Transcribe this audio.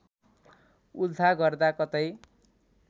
उल्था गर्दा कतै